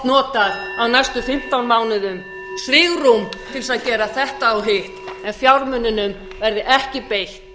notað á næstu fimmtán mánuðum svigrúm til þess að gera þetta og hitt en fjármununum verði ekki beitt